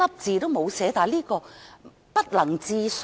這實在不能置信。